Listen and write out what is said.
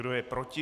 Kdo je proti?